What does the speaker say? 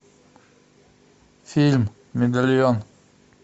фильм медальон